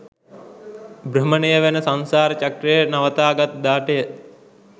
භ්‍රමණය වන සංසාර චක්‍රය නවතාගත් දාටය.